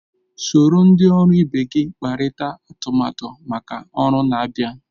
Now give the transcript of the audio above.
Soro ndị ọrụ ibe gị kparịta atụmatụ maka ọrụ na-abịa.